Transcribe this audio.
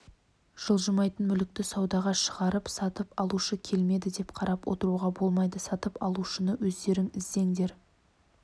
жылжымайтын мүлікті саудаға шығарып сатып алушы келмеді деп қарап отыруға болмайды сатып алушыны өздерің іздеңдер